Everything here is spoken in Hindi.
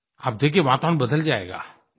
आप देखिए वातावरण बदल जाएगा